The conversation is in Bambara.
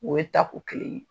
O ye tako kelen ye.